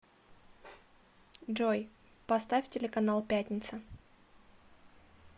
джой поставь телеканал пятница